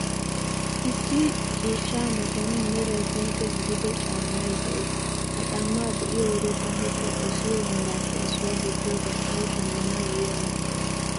Issi ciishshaa matan meray pinkke gidido shara caammay de'ees. Ha caammaa be'iyoo wode taanikka dosiyoo meraappe issuwa gidiyoo gishshawu shammanawu yeemottaas.